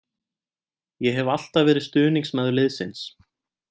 Ég hef alltaf verið stuðningsmaður liðsins.